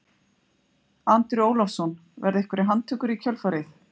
Andri Ólafsson: Verða einhverjar handtökur í kjölfarið?